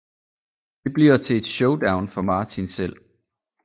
Det bliver til et showdown for Martin selv